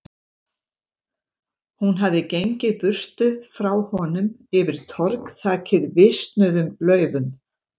Hún hafði gengið burtu frá honum, yfir torg þakið visnuðum laufum.